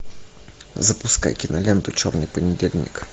запускай киноленту черный понедельник